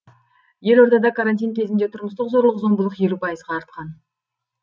елордада карантин кезінде тұрмыстық зорлық зомбылық елу пайызға артқан